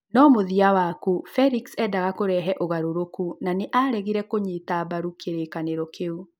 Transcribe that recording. No mũthia waku, Felix nĩ eendaga kũreve ũgarũrũku na nĩ aaregire kũnyita mbaru kĩrĩkanĩro kĩu.